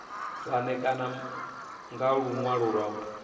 vha ṋekane nga luṅwalo lu